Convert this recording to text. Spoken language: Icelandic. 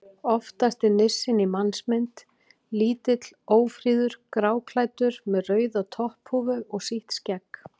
Oftast er nissinn í mannsmynd: Lítill, ófríður, gráklæddur með rauða topphúfu og sítt skegg.